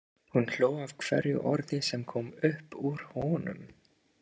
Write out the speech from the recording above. Hún hló að hverju orði sem kom upp úr honum.